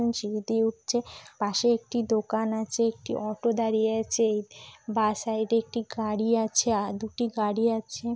সিঁড়ি দিয়ে উঠছে। পাশে একটি দোকান আছে। একটি অটো দাঁড়িয়ে আছে বাঁ সাইড - এ একটি গাড়ি আছে। আ-- দুটি গাড়ি আছে।